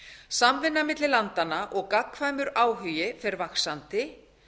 samvinna milli landanna og gagnkvæmur áhugi fer vaxandi